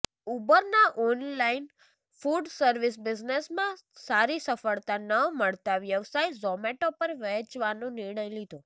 ઉબરના online food service બિઝનેસમાં સારી સફળતા ન મળતાં વ્યવસાય ઝોમેટો પર વેચવાનો નિર્ણય લીધો